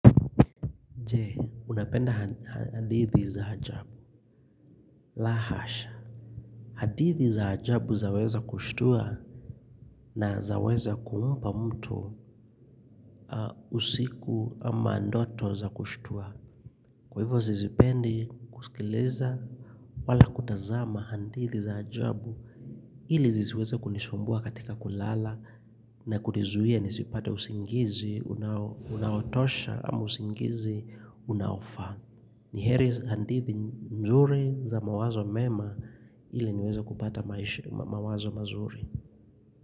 Je, unapenda hadithi za ajabu. La hasha hadithi za ajabu zaweza kushtua na zaweza kumpa mtu usiku ama ndoto za kushtua. Kwa hivyo sizipendi kusikiliza wala kutazama hadithi za ajabu ili zisiweza kunisumbua katika kulala na kunizuia nisipate usingizi, unaotosha ama usingizi, unaofaa. Ni heri hadithi nzuri za mawazo mema ili niweze kupata mawazo mazuri.